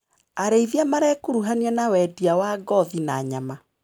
Arĩithia marekuruhania na wendia wa ngothi na nyama.